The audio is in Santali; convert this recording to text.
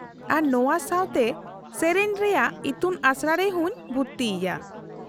-ᱟᱨ ᱱᱚᱶᱟ ᱥᱟᱶᱛᱮ ᱥᱮᱹᱨᱮᱹᱧ ᱨᱮᱭᱟᱜ ᱤᱛᱩᱱᱟᱥᱲᱟ ᱨᱮᱦᱚᱸᱧ ᱵᱷᱩᱨᱛᱤᱭᱮᱭᱟ ᱾